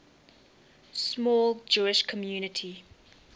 small jewish community